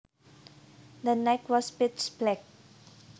The night was pitch black